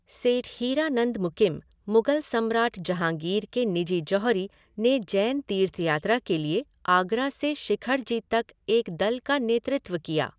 सेठ हीरानंद मुकिम, मुगल सम्राट जहांगीर के निजी जौहरी, ने जैन तीर्थयात्रा के लिए आगरा से शिखर जी तक एक दल का नेतृत्व किया।